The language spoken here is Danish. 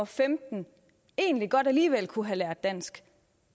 femten egentlig godt alligevel kunne have lært dansk